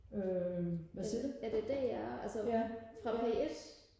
øh hvad siger du ja ja